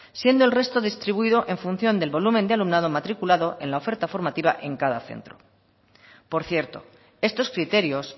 siendo el resto distribuido en función del volumen de alumnado matriculado en la oferta formativa en cada centro por cierto estos criterios